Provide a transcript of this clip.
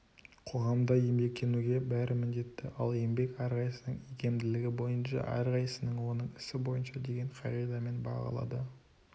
қоғамда еңбектенуге бәрі міндетті ал еңбек әрқайсысының икемділігі бойынша әрқайсысына оның ісі бойынша деген қағидамен бағалады